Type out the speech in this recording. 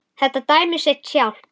Þetta dæmir sig sjálft.